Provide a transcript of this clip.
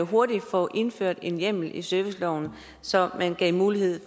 hurtigt få indført en hjemmel i serviceloven så man gav mulighed